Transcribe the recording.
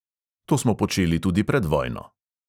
To smo počeli tudi pred vojno.